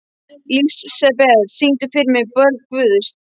Lísebet, syngdu fyrir mig „Börn Guðs“.